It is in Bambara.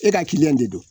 E ka kiliyan de don